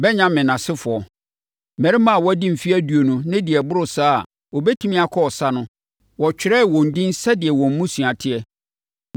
Benyamin asefoɔ: Mmarima a wɔadi mfeɛ aduonu ne deɛ ɛboro saa a wɔbɛtumi akɔ ɔsa no, wɔtwerɛɛ wɔn edin sɛdeɛ wɔn mmusua teɛ.